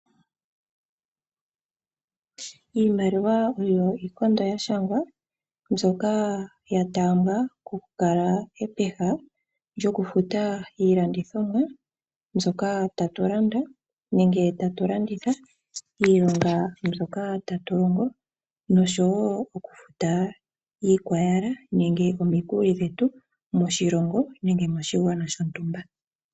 Iimaliwa oyo iikondo ya shangwa mbyoka ya taambwa okukala epeha lyo kufuta iilandithomwa mbyoka ya tu landa nenge tatu landitha, miilonga mbyoka ta tu longo osho wo okufuta omikuli dhetu moshilongo nenge moshigwana shotumba.